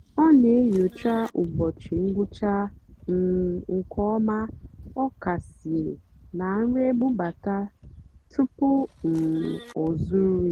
ọ́ nà-ènyócha ụ́bọ̀chị́ ngwụ́chá um nkè ọ́má ọ́kàsìé nà nrì ébúbátá túpú um ọ́ zụ́rụ́ yá.